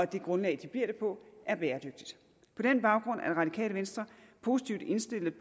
det grundlag de bliver det på er bæredygtigt på den baggrund er radikale venstre positivt indstillet